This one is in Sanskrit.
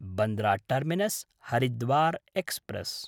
बन्द्रा टर्मिनस्–हरिद्वार् एक्स्प्रेस्